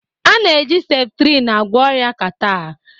A na-eji septrin agwọ ọrịa catarh